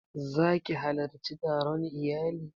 Za ki halarci taron iyali?